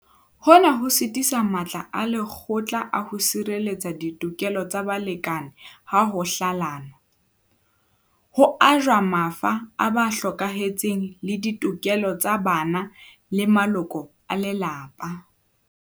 Hona ho sitisa le matla a lekgotla a ho sirelletsa ditokelo tsa balekane ha ho hlalanwa, ho ajwa mafa a ba hlokahetseng le ditokelo tsa bana le maloko a lelapa.